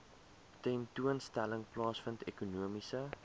tentoonstelling plaasvind ekonomiese